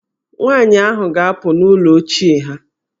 Nwaanyị ahụ ga-apụ n'ụlọ ochie ha.